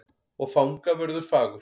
Og fangavörður fagur.